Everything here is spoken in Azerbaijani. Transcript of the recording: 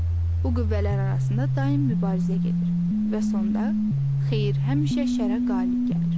Bu qüvvələr arasında daim mübarizə gedir və sonda xeyir həmişə şərə qalib gəlir.